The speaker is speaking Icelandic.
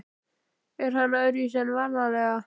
Er hann öðruvísi en vanalega?